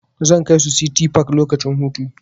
Zan kai su City park lokacin hutu.